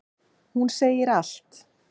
Hún segir allt.